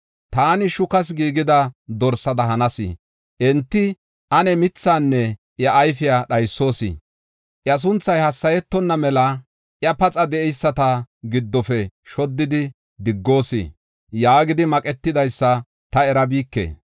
Taani shukas giigida dorsada hanas. Enti, “Ane mithaanne iya ayfiya dhaysoos. Iya sunthay hassayetonna mela iya paxa de7eyisata giddofe shoddidi diggoos” yaagidi maqetidaysa ta erabike.